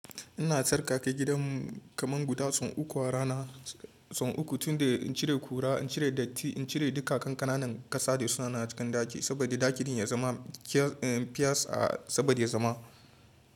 Ina tsarkake gidanmu kaman guda tsawon uku a rana, tsawon uku tunda in cire kura, in cire datti, in cire duka kankananan ƙasa da suna cikin ɗaki, saboda ɗakin ya zama kyas, saboda ya zama.